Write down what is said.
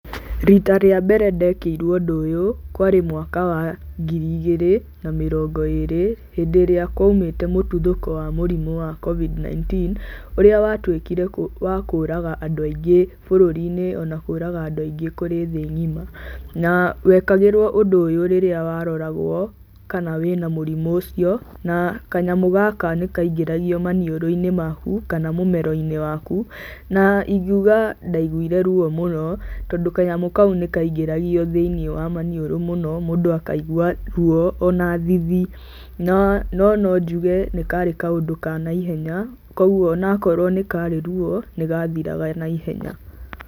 Rita rĩa mbere ndekĩirwo ũndũ ũyũ, kwarĩ mwaka wa ngiri igĩrĩ na mĩrongo ĩrĩ, hĩndĩ ĩrĩa kwaumĩte mũtuthũko wa mũrimũ wa Covid-19, ũrĩa watuĩkire wa kũraga andũ aingĩ bũrũri-inĩ ona kũraga andũ aingĩ kũrĩ thĩ ng'ima, na wekagĩrwo ũndũ ũyũ rĩrĩa waroragwo kana wĩ na mũrimũ ũcio. Na kanyamũ gaka nĩkaingĩragio maniũrũ-inĩ maku kana mũmero-inĩ waku, na ingiuga ndaiguire ruo mũno tondũ kanyamũ kau nĩkaingĩragio thĩiniĩ wa maniũrũ mũno, mũndũ akaigua ruo ona thithi. No no njuge nĩ karĩ kaũndũ ka naihenya koguo onakorwo nĩ karĩ ruo, nĩgathiraga naihenya.